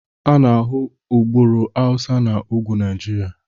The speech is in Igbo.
A na-ahụ agbụrụ Hausa na ugwu Nigeria